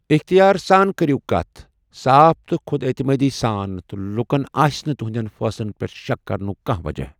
اختیار سان كرِیو كتھ ، صاف تہٕ خودعتمٲدی سان تہٕ لوٗكن آسہِ نہٕ تٗہندین فٲصلن پیٹھ شك كرنٗك كانہہ وجہہ ۔